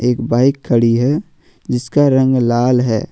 एक बाइक खड़ी है जिसका रंग लाल है।